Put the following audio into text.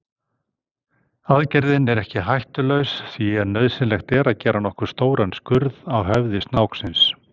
Aðgerðin er ekki hættulaus því nauðsynlegt er að gera nokkuð stóran skurð á höfði snáksins.